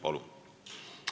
Palun!